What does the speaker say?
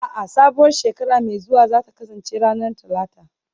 A'a, sabuwar shekara mai zuwa za ta kasance ranar Talata